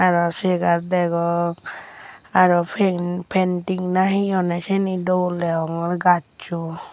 aro chegar degong aro painting na he honne sini dol degongor gachu.